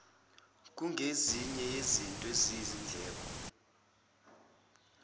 kungezinye zezinto eziyizindleko